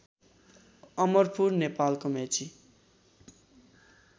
अमरपुर नेपालको मेची